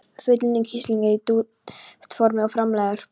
Fullunninn kísilgúr er í duftformi, og framleiðir